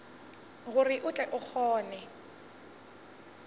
gore o tle o kgone